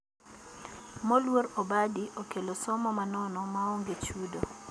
Moluor obadi okelo somo ma nono ma onge chudo